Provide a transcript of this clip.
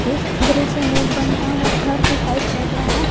इस दृश्य में एक बंधा हुआ घर दिखाई पड़ रहा है।